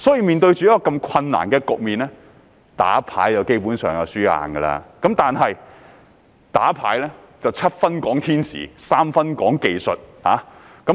面對如此困難局面，以打麻將而言基本上是必輸無疑，但打麻將是七分天時、三分技術。